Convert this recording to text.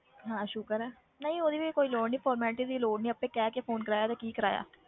ਹਾਂ ਸ਼ੁਕਰ ਹੈ, ਨਹੀਂ ਉਹਦੀ ਵੀ ਕੋਈ ਲੋੜ ਨੀ formality ਦੀ ਲੋੜ ਨੀ ਆਪੇ ਕਹਿ ਕੇ phone ਕਰਾਇਆ ਤੇ ਕੀ ਕਰਾਇਆ।